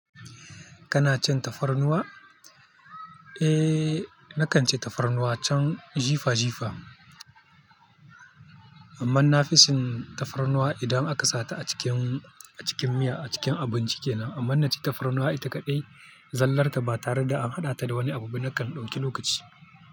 Kana cin tafarnuwa? Eh, nakan ci tafarnuwa can jifa-jifa. Amma naficin tafarnuwa idan aka sata a cikin, a cikin miya, a cikin abinci kenan. Amma naci tafarnuwa ita kaɗai, zallar ta ba tare da an haɗa ta da wani abu ba, nakan ɗauki lokaci.